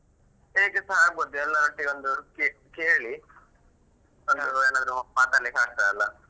ಹೇಗೆಸಾ ಆಗ್ಬೋದು ಎಲ್ಲರೊಟ್ಟಿಗೆ ಒಂದು ಕೇಳಿ ಒಂದು ಏನಾದ್ರು ಮಾತಾಡ್ಲಿಕ್ಕೆ ಆಗ್ತದಲ್ಲಾ.